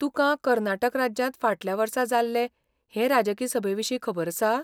तुकां कर्नाटक राज्यांत फाटल्या वर्सा जाल्ले हे राजकी सभेविशीं खबर आसा?